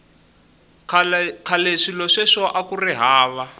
khale swilo sweswo akuri hava